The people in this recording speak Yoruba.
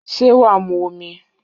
Sé wà á mu omi?